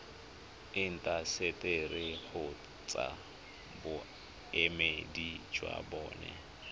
intaseteri kgotsa boemedi jwa bona